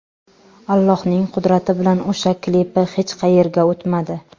Allohning qudrati bilan o‘sha klipi hech qayerga o‘tmadi.